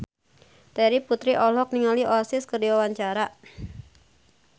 Terry Putri olohok ningali Oasis keur diwawancara